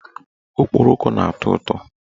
Okporoko na-atọ ụtọ.